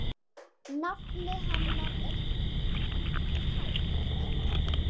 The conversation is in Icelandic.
Nafnið hennar er tært.